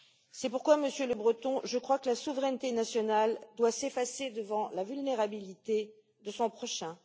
C'est pourquoi, Monsieur Lebreton, je crois que la souveraineté nationale doit s'effacer devant la vulnérabilité du prochain.